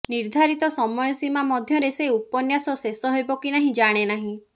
ନିର୍ଦ୍ଧାରିତ ସମୟ ସୀମା ମଧ୍ୟରେ ସେ ଉପନ୍ୟାସ ଶେଷ ହେବ କି ନାହିଁ ଜାଣେ ନାହିଁ